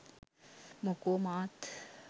මොකෝ මාත්